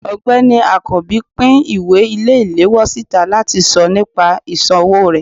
ọgbẹni akanbi pín ìwé ile-ìlewọ sitá latí sọ nìpa isòwó re.